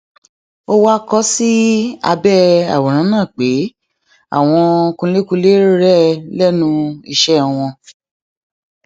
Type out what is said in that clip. ó wáá kọ ọ sí abẹ àwòrán náà pé àwọn kunlékunlé rèé lẹnu iṣẹ wọn